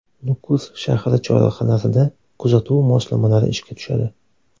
Nukus shahri chorrahalarida kuzatuv moslamalari ishga tushadi.